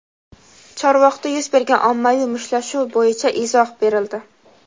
Chorvoqda yuz bergan ommaviy mushtlashuv bo‘yicha izoh berildi.